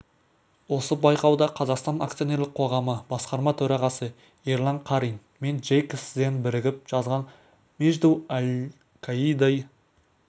осы байқауда қазақстан акционерлік қоғамы басқарма төрағасы ерлан қарин мен джейкобс зенн бірігіп жазған между аль-каидой